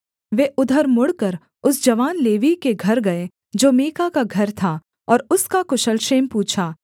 वे उधर मुड़कर उस जवान लेवीय के घर गए जो मीका का घर था और उसका कुशल क्षेम पूछा